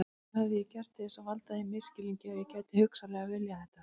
Hvað hafði ég gert til að valda þeim misskilningi að ég gæti hugsanlega viljað þetta?